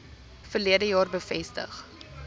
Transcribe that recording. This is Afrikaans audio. verlede jaar bevestig